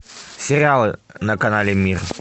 сериалы на канале мир